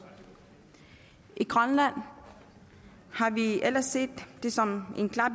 i grønland har vi ellers set det som en klar